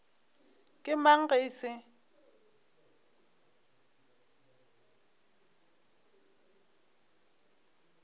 ke mang ge e se